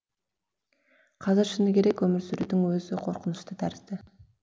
қазір шыны керек өмір сүрудің өзі қорқынышты тәрізді